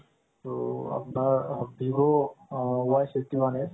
তো আপোনাৰ vivo আ y fifty one a